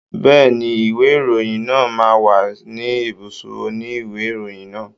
Bẹ́ẹ̀ni, ìwé ìròyìn náà máa wà ní ibùsọ̀ òní ìwé ìròyìn náà.